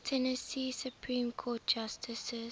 tennessee supreme court justices